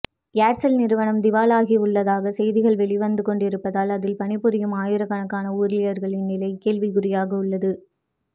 Aircel நிறுவனம் திவால் ஆகவுள்ளதாக செய்திகள் வெளிவந்து கொண்டிருப்பதால் அதில் பணிபுரியும் ஆயிரக்கணக்கான ஊழியர்களின் நிலை கேள்விக்குரியாக உள்ளது